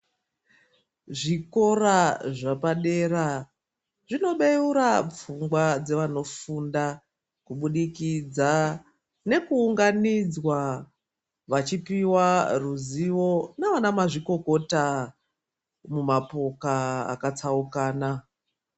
Zvikora zvepadera zvinobeura pfungwa dzevanofunda kubudikidza nekuunganidzwa vachipiwa ruzivo naana mazvikokota mumapoka akatsaukana.